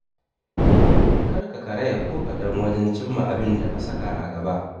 Kar ka karaya ko kaɗan wajen cimma abinda ka saka a gaba.